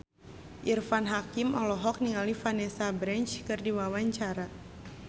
Irfan Hakim olohok ningali Vanessa Branch keur diwawancara